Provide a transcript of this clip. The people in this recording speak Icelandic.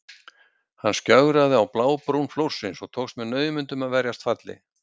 Hann skjögraði á blábrún flórsins og tókst með naumindum að verjast falli.